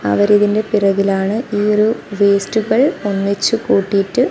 അവരിതിന്റെ പിറകിലാണ് ഈ ഒരു വേസ്സ്റ്റുകൾ ഒന്നിച്ചു കൂട്ടീട്ട്--